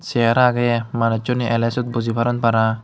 chear aagay manussunay alay swot boji paron para.